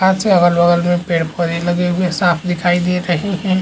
आकाश है अगल-बगल में पेड़-पौधे लगे हुए साफ दिखाई दे रहे है।